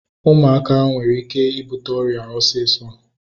Ụmụaka nwere ike ịbute ọrịa osisọ